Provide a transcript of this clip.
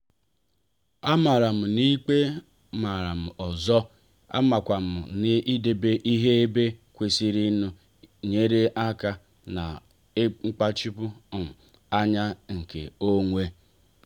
amara m n'ikpe maram ọzọ amakwam n'idebe ihe ebe kwesịrịnụ nyere aka na nkpachapu um anya nke onwe.